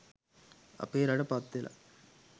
අපේ රට පත්වෙලා